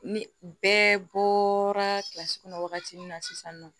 Ni bɛɛ bɔra kɔnɔ wagati min na sisan nɔ